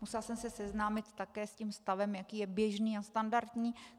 Musela jsem se seznámit také s tím stavem, jaký je běžný a standardní.